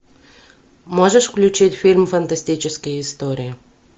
можешь включить фильм фантастические истории